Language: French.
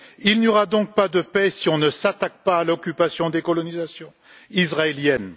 Il n'y aura donc pas de paix si on ne s'attaque pas à l'occupation des colonisations israéliennes.